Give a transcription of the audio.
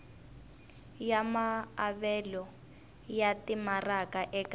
ya maavelo ya timaraka eka